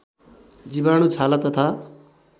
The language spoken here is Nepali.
जीवाणु छाला तथा